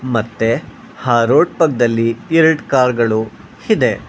ಮತ್ತೆ ಆ ರೋಡ್ ಪಕ್ದಲ್ಲಿ ಎರಡು ಕಾರ್ ಗಳು ಇದೆ.